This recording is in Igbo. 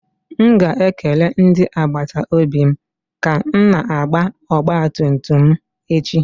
M ga-ekele ndị agbata obi m ka m na-agba ọgba tum tum m echi.